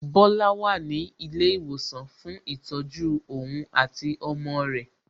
Bola wà ní ilé ìwòsàn fún ìtọ́jú ohun àti ọmọ rẹ̀